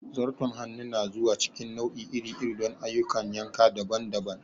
Zarton hannu na zuwa cikin nau'i iri-iri don ayyukan yanka daban-daban.